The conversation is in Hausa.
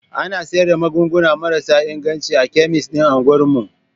Ana sayar da magunguna marasa inganci a kemis din unguwar mu.